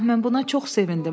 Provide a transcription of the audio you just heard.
Ah mən buna çox sevindim.